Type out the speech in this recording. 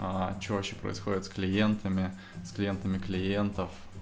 а что вообще происходит с клиентами с клиентами клиентов